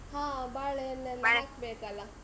ಹಾ, ಬಾಳೇಹಣ್ಣ್ ಹಾಕ್ಬೇಕ್ ಅಲ್ಲ.